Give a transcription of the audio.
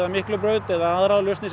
Miklubraut eða aðrar lausnir